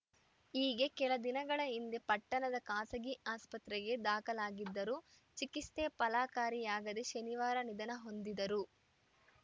ಈಗ್ಗೆ ಕೆಲದಿನಗಳ ಹಿಂದೆ ಪಟ್ಟಣದ ಖಾಸಗಿ ಆಸ್ಪತ್ರೆಗೆ ದಾಖಲಾಗಿದ್ದರು ಚಿಕಿತ್ಸೆ ಫಲಕಾರಿಯಾಗದೇ ಶನಿವಾರ ನಿಧನ ಹೊಂದಿದರು